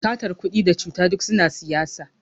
satar kudi da cuta duk suna siyasa